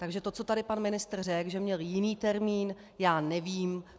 Takže to, co tady pan ministr řekl, že měl jiný termín, já nevím.